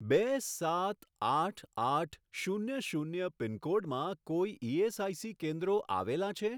બે સાત આઠ આઠ શૂન્ય શૂન્ય પિનકોડમાં કોઈ ઇએસઆઇસી કેન્દ્રો આવેલાં છે?